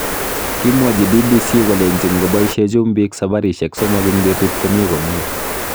Kimwochi BBC kolenji ngoboishe chumbik sabarishek somok eng betut komi komye.